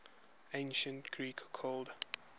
ancient greek called